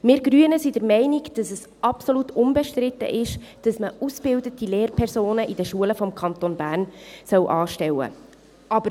Wir Grüne sind der Meinung, dass absolut unbestritten ist, dass man in den Schulen des Kantons Bern ausgebildete Lehrpersonen anstellen soll.